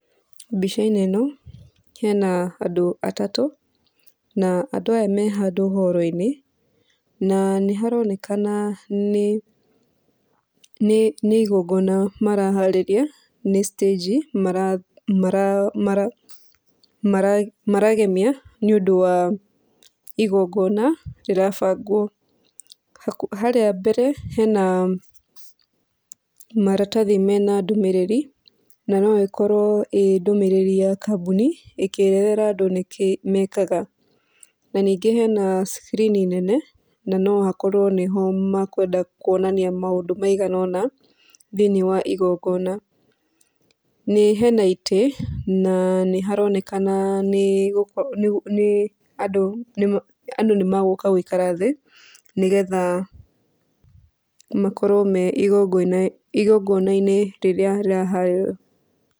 Mbica-inĩ ĩno hena andũ atatũ an andũa aya me handũ horo-inĩ, na nĩmaronekana nĩ nĩ nĩ igongona maraharĩria, nĩ citanji maragemia nĩũndũ wa igongona rĩrabangwo. Harĩa mbere hena maratathi mena ndũmĩrĩri, na no ĩkorwo ĩ ndũmĩrĩri ya kambũni ĩkĩra andũ nĩkĩĩ mekaga. Na ningĩ hena cikirini nene na no hakorwo nĩho makwenda kuonania maũndũ maigana ũna thĩiniĩ wa igongona. Nĩ hena itĩ na nĩharonekna nĩ andũ, nĩ andũ nĩmegũka gũikara thĩ, nĩgetha makorwo me igongona-inĩ rĩrĩa rĩraharĩrĩrio.